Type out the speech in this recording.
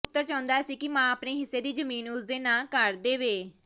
ਪੁੱਤਰ ਚਾਹੁੰਦਾ ਸੀ ਕਿ ਮਾਂ ਆਪਣੇ ਹਿੱਸੇ ਦੀ ਜ਼ਮੀਨ ਉਸ ਦੇ ਨਾਂ ਕਰ ਦੇਵੇ